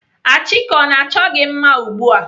Achike ọ na-achọ gị mma ugbu a?